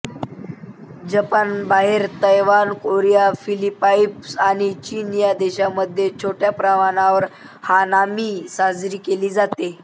जपानबाहेर तैवानकोरियाफिलिपाईन्स आणि चीन या देशांमध्ये छोट्या प्रमाणावर हानामी साजरी केली जाते